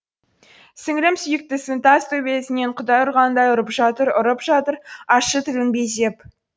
сіңілім сүйіктісінің тас төбесінен құдай ұрғандай ұрып жатыр ұрып жатыр ащы тілін безеп